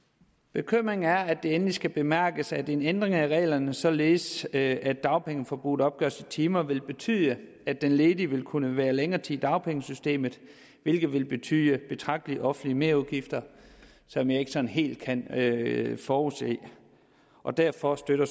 bekymringen er at det endelig skal bemærkes at en ændring af reglerne således at dagpengeforbruget opgøres i timer vil betyde at den ledige vil kunne være længere tid i dagpengesystemet hvilket vil betyde betragtelige offentlige merudgifter som jeg ikke sådan helt kan forudse og derfor støtter